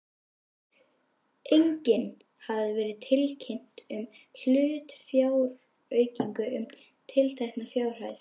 Einnig hafði verið tilkynnt um hlutafjáraukningu um tiltekna fjárhæð.